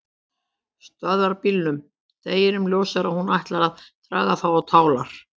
Stöðvarbílum, deginum ljósara að hún ætlaði að draga þá á tálar.